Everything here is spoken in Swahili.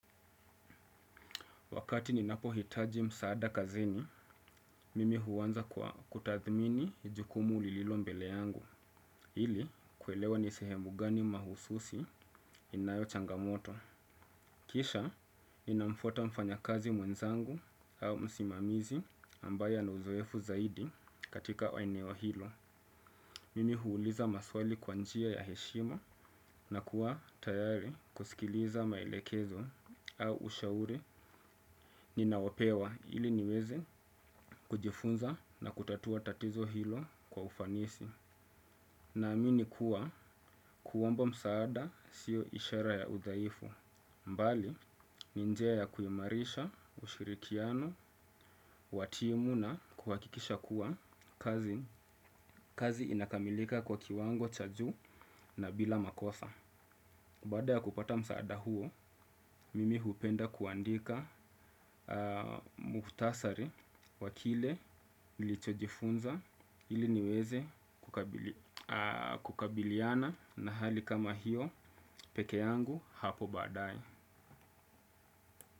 Wakati ninapohitaji msaada kazini, mimi huanza kwa kutathmini jukumu lililo mbele yangu, ili kuelewa ni sehemu gani mahususi inayo changamoto. Kisha, ninamfuata mfanyakazi mwenzangu au msimamizi ambaye ana uzoefu zaidi katika eneo hilo. Mimi huuliza maswali kwa njia ya heshima na kuwa tayari kusikiliza maelekezo au ushauri. Ninaopewa ili niweze kujifunza na kutatua tatizo hilo kwa ufanisi. Naamini kuwa kuomba msaada sio ishara ya udhaifu. Bali ni njia ya kuimarisha ushirikiano wa timu na kuhakikisha kuwa kazi inakamilika kwa kiwango cha juu na bila makosa. Baada ya kupata msaada huo, mimi hupenda kuandika muhtasari wa kile nilichojifunza ili niweze kukabiliana na hali kama hiyo peke yangu hapo baadaye.